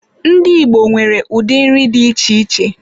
Ndị Igbo nwere ụdị nri dị iche iche.